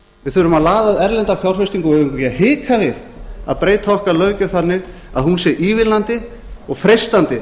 við þurfum að laða að erlenda fjárfestingu og við eigum ekki að hika við að breyta okkar löggjöf þannig að hún sé ívilnandi og freistandi